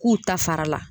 K'u ta fara la